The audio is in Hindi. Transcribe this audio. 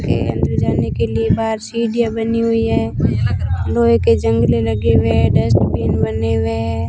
के अंदर जाने के लिए बाहर सीढ़ियां बनी हुई है लोहे के जंगले लगे हुए है डस्टबिन बने हुए है।